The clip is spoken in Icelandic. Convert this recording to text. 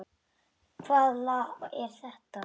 Hvaða lag er það?